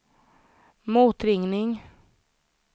motringning